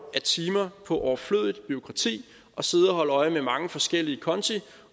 af timer på overflødigt bureaukrati og sidde og holde øje med mange forskellige konti